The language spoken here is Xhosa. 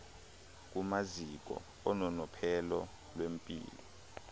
kumaziko ononophelo lwempilo